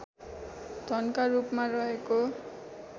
धनका रूपमा रहेको